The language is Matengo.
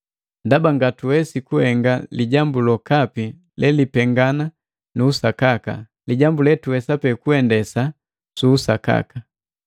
Ndaba ngatuwesi kuhenga lijambu lokapi lelipengana nu usakaka. Lijambu letuwesa pe kuendesa su usakaka.